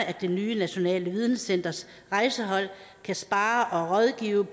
at det nye nationale videnscenters rejsehold kan sparre og rådgive